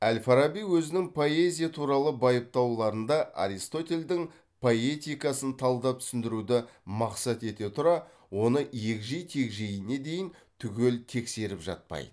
әл фараби өзінің поэзия туралы байыптауларында аристотельдің поэтикасын талдап түсіндіруді мақсат ете тұра оны егжей тегжейіне дейін түгел тексеріп жатпайды